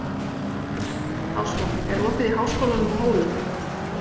Ásrún, er opið í Háskólanum á Hólum?